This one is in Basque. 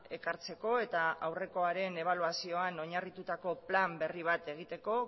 ekartzeko eta aurrekoaren ebaluazioan oinarritutako plan berri bat egiteko